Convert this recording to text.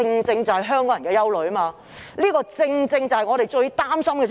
這是香港人的憂慮，也是令我們最擔心的事情。